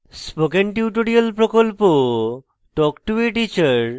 spoken tutorial প্রকল্প talk to a teacher প্রকল্পের অংশবিশেষ